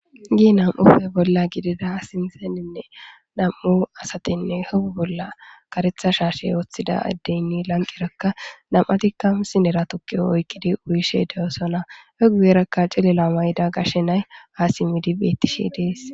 gi nam7ufe bolla gidida sinzeninne nam7u asatinne hebu bolla karetha shaashe woththida addeynni lanqerakka nam7atikkamu sinera tukki oykkidi uyishe de7osona hegugerakka cilela mayda gashe nay ha simmidi bettishe dees